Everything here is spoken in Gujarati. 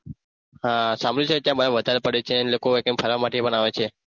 હા સાંભળ્યું છે ત્યાં બરફ વધારે પડે છે એટલે લોકો ફરવા માટે પણ આવે છે